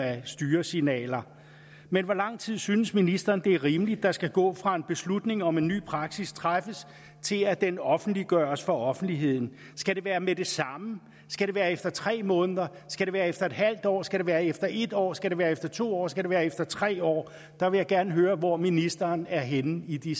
af styresignaler men hvor lang tid synes ministeren det er rimeligt der skal gå fra en beslutning om en ny praksis træffes til at den offentliggøres for offentligheden skal det være med det samme skal det være efter tre måneder skal det være efter en halv år skal det være efter en år skal det være efter to år skal det være efter tre år der vil jeg gerne høre hvor ministeren er henne i de